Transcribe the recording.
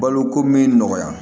Baloko min nɔgɔya